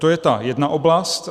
To je ta jedna oblast.